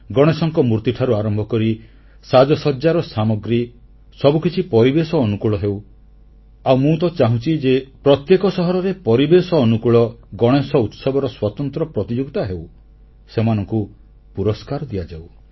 ଗଣେଶଙ୍କ ମୂର୍ତ୍ତିଠାରୁ ଆରମ୍ଭ କରି ସାଜସଜ୍ଜାର ସାମଗ୍ରୀ ସବୁକିଛି ପରିବେଶ ଅନୁକୂଳ ହେଉ ଆଉ ମୁଁ ତ ଚାହୁଁଛି ଯେ ପ୍ରତ୍ୟେକ ସହରରେ ପରିବେଶ ଅନୁକୂଳ ଗଣେଶ ଉତ୍ସବର ସ୍ୱତନ୍ତ୍ର ପ୍ରତିଯୋଗିତା ହେଉ ସେମାନଙ୍କୁ ପୁରସ୍କାର ଦିଆଯାଉ